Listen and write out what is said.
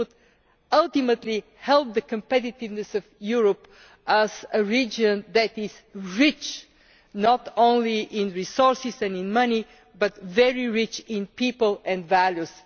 it would ultimately help the competitiveness of Europe as a region that is rich not only in resources and in money, but very rich in people and values.